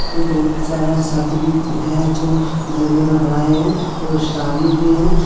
बहुत सारा शर्ट भी हैं जो में भर आए हैं और सारी भी हैं।